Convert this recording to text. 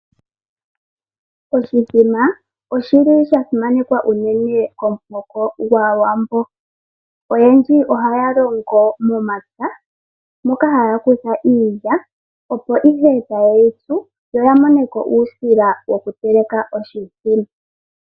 Oshimbombo osha simanekwa komuhoko gwAawambo. Oyendji ohaya longo momapya moka haya kutha iilya mbyono haya tsu, opo ya moneko uusila woku teleka oshimbombo.